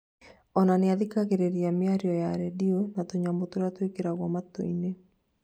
ona nĩathikagĩrĩria mĩario ya redio na tunyamũ turĩa twikiragwo matũinĩ